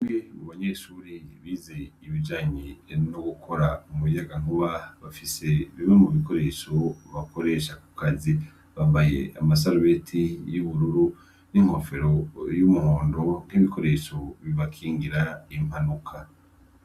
We bu banyeshuri bize ibijanyi eanougukora umuyaga nkuba bafise biwe mu bikoresho bakoresha ku kazi babaye amasarubeti y'ubururu n'inkofero y'umuhundo bw'ibikoresho bibakingira impanuka.